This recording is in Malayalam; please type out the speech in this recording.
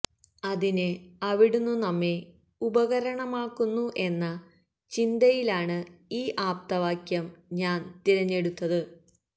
അതിന് അവിടുന്നു നമ്മെ ഉപകരണമാക്കുന്നു എന്ന ചിന്തയിലാണ് ഈ ആപ്തവാക്യം ഞാന് തിരഞ്ഞെടുത്തത്